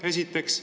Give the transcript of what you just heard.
Seda esiteks.